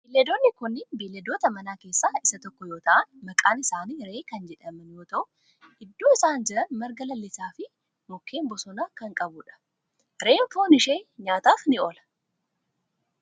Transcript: Beelladoonni kunneen beelladoota manaa keessaa isaa tokko yoo ta'an maqaan isaanii re'ee kan jedhaman yoo ta'u iddoo isaan jiran marga lalisaa fi mukkeen bosonaa kan qabudha. re'een foon ishee nyaataf ni oola.